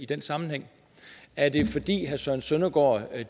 den sammenhæng er det fordi herre søren søndergaard